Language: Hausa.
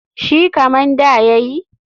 Shi kaman da ya yi?